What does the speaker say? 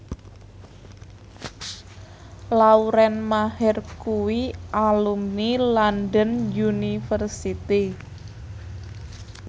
Lauren Maher kuwi alumni London University